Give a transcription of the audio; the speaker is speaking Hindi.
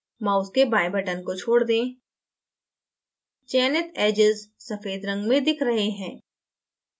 mouse के बाएँ button को छोड दें चयनित edges सफेद रंग में दिख रहे हैं